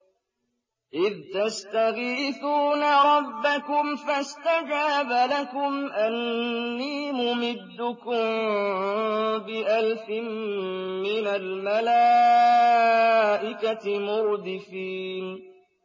إِذْ تَسْتَغِيثُونَ رَبَّكُمْ فَاسْتَجَابَ لَكُمْ أَنِّي مُمِدُّكُم بِأَلْفٍ مِّنَ الْمَلَائِكَةِ مُرْدِفِينَ